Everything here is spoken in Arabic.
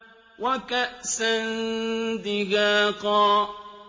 وَكَأْسًا دِهَاقًا